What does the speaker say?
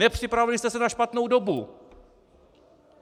Nepřipravili jste se na špatnou dobu!